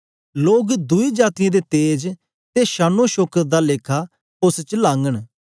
लोग दुई जातीयें दे तेज ते शानोशौकत दा लेखा उस्स च लाघंन